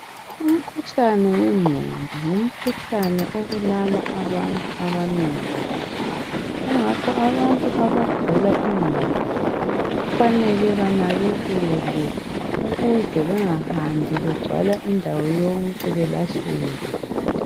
Umkhuhlane wengqondo ngumkhuhlane obulala abantu abanengi kabi .Kungakho abagula ingqondo kufanele benakekekelwe ukuze bengahambi begcwala indawo yonke belahleke.